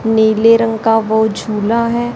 नीले रंग का वो झूला है।